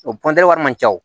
O wari man ca